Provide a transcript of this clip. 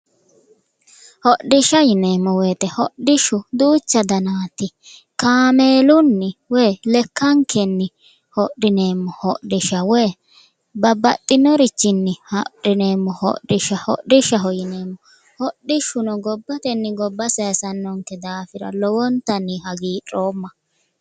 Hodhisha yineemo woyite hodhishu danaati kaameelunni woyi lekkanikenni hodhineemo hodhisha woyi babbaxinorichini hodhineemo hodhisha hodhishaho yineemo hodhishuno gobbatenni gobba sayisannonikehura lowonitanni hagiidhooma